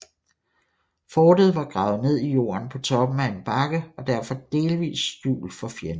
Fortet var gravet ned i jorden på toppen af en bakke og derfor delvist skjult for fjenden